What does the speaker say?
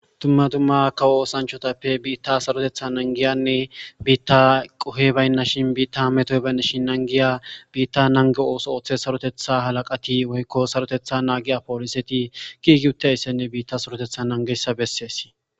Tumma tumma kawo oosanchotappe biitta sarotetha nangiyanne biitta qohe baynna shin biitta hametoy baynna shin nangiya biitta nange ooso ooththe sarotetha halaqati woykko sarotetha naagiya pooliseti gigiutte issenne biitta sarotetha nangessa bessees